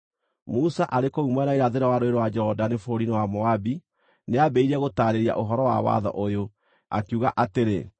Musa arĩ kũu mwena wa irathĩro wa Rũũĩ rwa Jorodani bũrũri-inĩ wa Moabi, nĩambĩrĩirie gũtaarĩria ũhoro wa watho ũyũ, akiuga atĩrĩ: